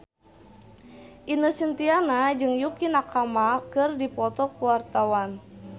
Ine Shintya jeung Yukie Nakama keur dipoto ku wartawan